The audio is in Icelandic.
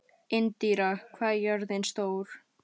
Indíra, hvað er jörðin stór?